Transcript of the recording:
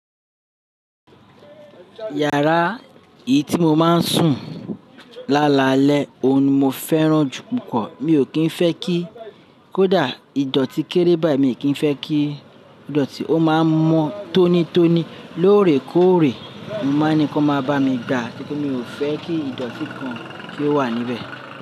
Yàrá èyí tí mo máa ń sùn lálalẹ́ òun ni mo fẹ́ràn jù púpọ̀. Mi ò kí ń fẹ́ kí kódà ìdọ̀tí kéré bá mi. Èmi kì í fẹ́ kí ìdọ̀tí ó máa mọ tónítóni lóòrèkóòrè. Mo máa ni kọ́ máa bá mi gbà tí kí mi ò fẹ́ kí ìdọ̀tí kan kí ó wà níbẹ̀.